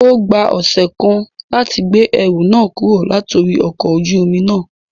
O gba ọsẹ kan lati gbe ẹru náà kuro latori ọkọ ojú omi na